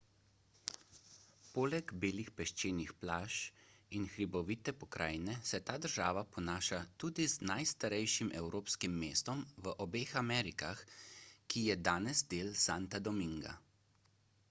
poleg belih peščenih plaž in hribovite pokrajine se ta država ponaša tudi z najstarejšim evropskim mestom v obeh amerikah ki je danes del santa dominga